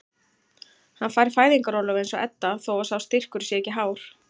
Hann fær fæðingarorlof eins og Edda þó að sá styrkur sé ekki hár.